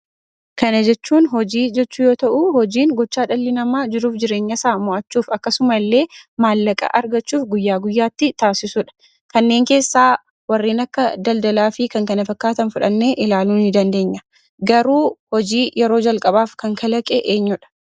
Kana jechuun hojii jechuu yoo ta'u, hojiin gochaa dhalli namaa jiruuf jireenya isaa mo'achuuf, akkasuma illee maallaqa argachuuf guyyaa guyyaatti taasisuudha. Kanneen keessaa warreen akka daldalaa fi kan kana fakkaatan fudhannee ilaaluu ni dandeenya. Garuu, hojii yeroo jalqabaaf kan kalaqe eenyuudha?